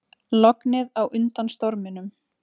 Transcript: Lognið á undan storminum